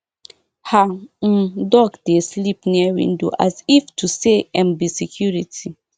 her um duck dey sleep near window as if to say em be security